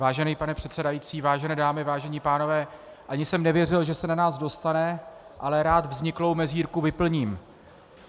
Vážený pane předsedající, vážené dámy, vážení pánové, ani jsem nevěřil, že se na nás dostane, ale rád vzniklou mezírku vyplním.